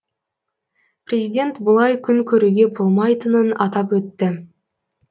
президент бұлай күн көруге болмайтынын атап өтті